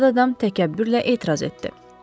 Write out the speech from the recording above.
Yad adam təkəbbürlə etiraz etdi.